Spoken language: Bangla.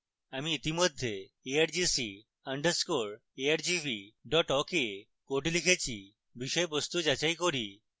আমি ইতিমধ্যে argc _ argv awk এ code লিখেছি বিষয়বস্তু যাচাই করি